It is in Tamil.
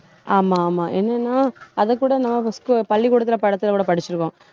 ஆமா, ஆமா. என்னன்னா அதைக்கூட நான் scho~ பள்ளிக்கூடத்துல கூட படிச்சிருக்கோம்